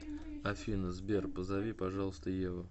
афина сбер позови пожалуйста еву